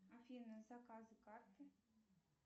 афина заказы карты